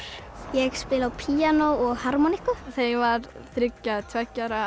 ég spila á píanó og harmónikku þegar ég var þriggja eða tveggja ára